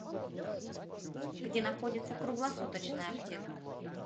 где находится круглосуточная аптека